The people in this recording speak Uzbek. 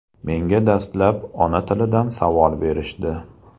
Menga dastlab ona-tilidan savol berishdi.